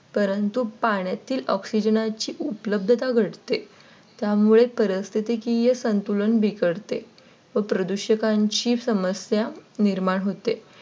परंतु पाण्यातील Oxygen ची उपलब्धता घटते. त्यामुळे परिस्थितीकीय संतुलन बिघडते व प्रदूषकांची समस्या निर्माण होते.